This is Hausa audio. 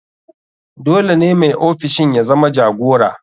Dole ne mai ofishin ya zama jagora.